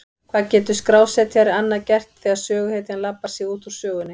Hvað getur skrásetjari annað gert þegar söguhetjan labbar sig út úr sögunni?